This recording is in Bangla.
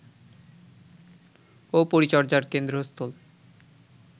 ও পরিচর্যার কেন্দ্রস্থল